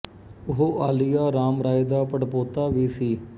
ਉਹ ਆਲੀਆ ਰਾਮ ਰਾਏ ਦਾ ਪੜਪੋਤਾ ਵੀ ਸੀ